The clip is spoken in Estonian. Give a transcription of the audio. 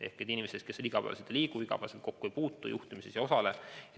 Ehk tegemist oli inimestega, kes haiglas iga päev ei käi, sellega igapäevaselt kokku ei puutu, juhtimises ei osale.